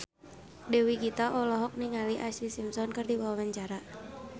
Dewi Gita olohok ningali Ashlee Simpson keur diwawancara